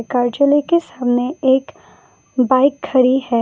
कार्यालय के सामने एक बाइक खड़ी है।